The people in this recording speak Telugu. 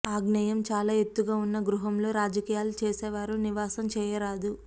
ఆగ్నేయం చాలా ఎత్తుగా ఉన్న గృహంలో రాజకీయాలు చేసేవారు నివాసం చేయరాదు